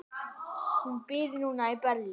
Hún býr núna í Berlín.